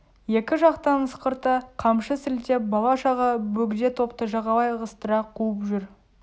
екі жақтан ысқырта қамшы сілтеп бала-шаға бөгде топты жағалай ығыстыра қуып жүр